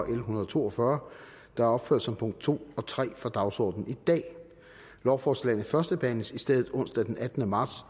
en hundrede og to og fyrre der er opført som punkt to og tre af dagsordenen i dag lovforslagene førstebehandles i stedet onsdag den attende marts